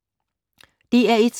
DR1